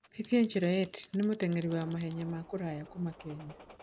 Vivian Cheruiyot nĩ mũteng'eri wa mahenya ma kũraya kuuma Kenya.